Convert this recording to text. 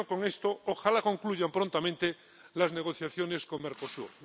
Termino con esto ojalá concluyan prontamente las negociaciones con Mercosur.